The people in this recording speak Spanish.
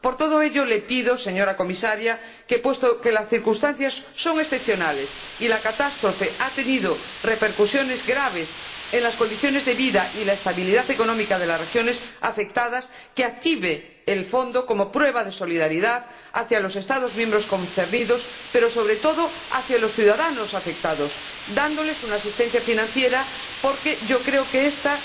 Por todo ello le pido, señora Comisaria, puesto que las circunstancias son excepcionales y la catástrofe ha tenido repercusiones graves en las condiciones de vida y la estabilidad económica de las regiones afectadas, que active el fondo como prueba de solidaridad hacia los Estados miembros afectados, pero, sobre todo, hacia los ciudadanos afectados, dándoles asistencia financiera, porque yo creo que esta